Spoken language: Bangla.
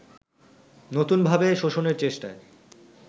নতুনভাবে শোষণের চেষ্টায়